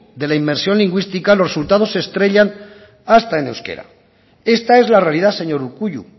de la inmersión lingüística los resultados se estrellan hasta en euskera esta es la realidad señor urkullu